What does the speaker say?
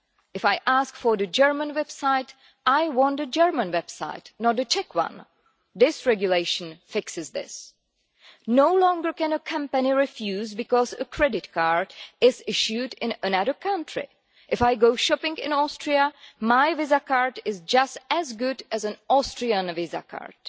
If I ask for the German website, I want a German website, not a Czech one. This regulation fixes this. No longer can a company refuse because a credit card was issued in another country. If I go shopping in Austria, my Visa card is just as good as an Austrian Visa card.